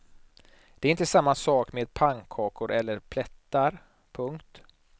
Det är inte samma sak med pannkakor eller plättar. punkt